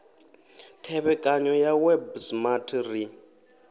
thevhekano ya web smart ri